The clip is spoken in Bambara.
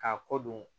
K'a ko don